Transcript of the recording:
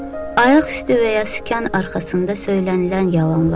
Ayaqüstü və ya sükan arxasında söylənilən yalanlar.